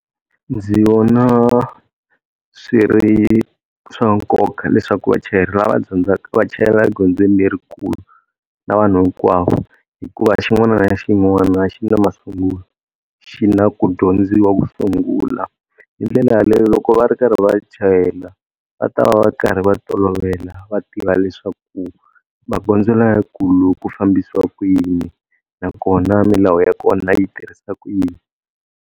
ndzi vona swi ri swa nkoka leswaku vachayeri lava dyondzaka va chayela egondzweni lerikulu na vanhu hinkwavo, hikuva xin'wana na xin'wana xi na masungulo xi na ku dyondziwa ku sungula. Hi ndlela yaleyo loko va ri karhi va chayela, va ta va va karhi va tolovela va tiva leswaku magondzo lamakulu ku fambisiwa ku yini. Nakona milawu ya kona yi tirhisa ku yini.